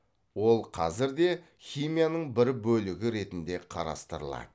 ол қазір де химияның бір бөлігі ретінде қарастырылады